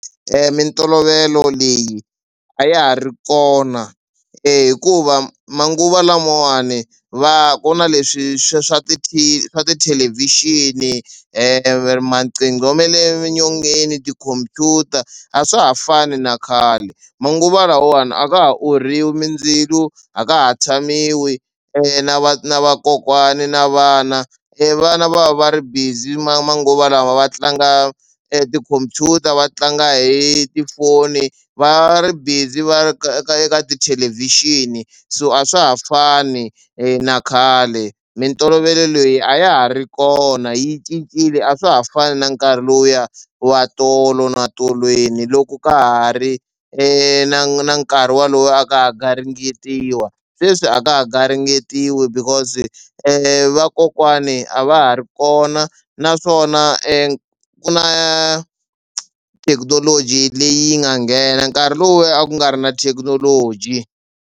Mintolovelo leyi a ya ha ri kona hikuva manguva lamawani va ku na leswi swa swa tithelevhixini maqhingo me le nyongeni tikhomphyuta a swa ha fani na khale. Manguvalamawani a ka ha orhiwa mindzilo a ka ha tshamiwi na va na vakokwani na vana e vana va va ri busy ma manguva lawa va tlanga tikhompyuta va tlanga hi tifoni va ri busy va ka ka ka tithelevhixini so a swa ha fani na khale. Mintolovelo leyi a ya ha ri kona yi cincile a swa ha fani na nkarhi lowuya wa tolo na tolweni loko ka ha ri na nkarhi wolowo a ka ha garingetiwa sweswi a ka ha garingetiwi because vakokwani a va ha ri kona naswona ku na thekinoloji leyi nga nghena nkarhi lowuya a ku nga ri na thekinoloji.